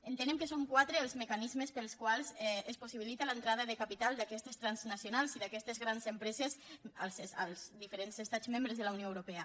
entenem que són quatre els mecanismes pels quals es possibilita l’entrada de capital d’aquestes transnacionals i d’aquestes grans empreses als diferents estats membres de la unió europea